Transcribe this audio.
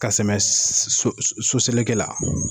Ka sɛmɛ s s so so seleke la